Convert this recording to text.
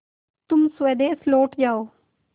तुम स्वदेश लौट जाओ